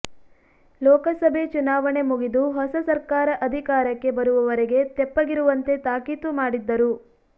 ಲೋಕಸಭೆ ಚುನಾವಣೆ ಮುಗಿದು ಹೊಸ ಸರ್ಕಾರ ಅಧಿಕಾರಕ್ಕೆ ಬರುವವರೆಗೆ ತೆಪ್ಪಗಿರುವಂತೆ ತಾಕೀತು ಮಾಡಿದ್ದರು